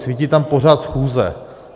Svítí tam pořad schůze.